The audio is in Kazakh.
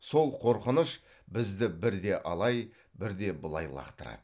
сол қорқыныш бізді бірде алай бірде былай лақтырады